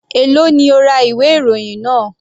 Èló ni o ra ìwé ìròyìn náà?